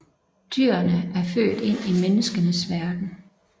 Dyrene er født ind i menneskenes verden